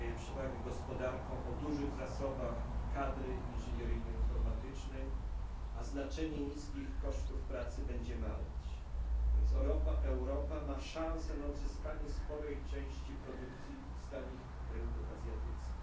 Daje przewagę gospodarkom o dużych zasobach kadry inżynieryjnej, informatycznej, natomiast znaczenie niskich kosztów pracy będzie maleć, więc Europa ma szansę na odzyskanie sporej części produkcji z tanich rynków azjatyckich.